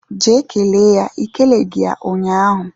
Jee kelee ya I keleghi ya ụnyahụ